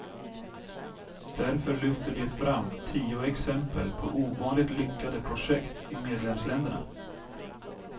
Därför lyfter de fram tio exempel på ovanligt lyckade projekt i medlemsländerna.